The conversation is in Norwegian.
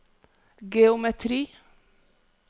geometri